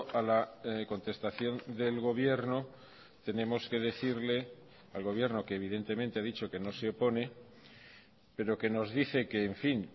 a la contestación del gobierno tenemos que decirle al gobierno que evidentemente ha dicho que no se opone pero que nos dice que en fin